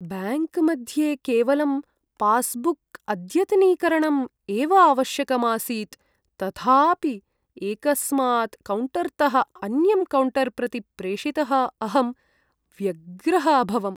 ब्याङ्क्मध्ये केवलं पास्बुक्अद्यतनीकरणम् एव आवश्यकम् आसीत्, तथापि एकस्मात् कौण्टर्तः अन्यं कौण्टर् प्रति प्रेषितः अहं व्यग्रः अभवम्।